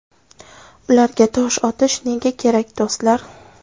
Ularga tosh otish nega kerak, do‘stlar?